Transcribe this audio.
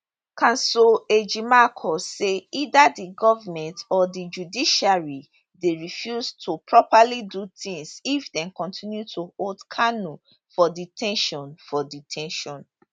counsel ejimakor say either di govment or di judiciary dey refuse to properly do tins if dem continue to hold kanu for de ten tion for de ten tion